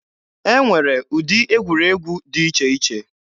E nwere ụdị egwuregwu dị iche iche.